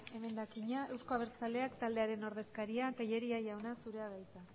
emendakina euzko abertzaleak taldearen ordezkaria tellería jauna zurea da hitza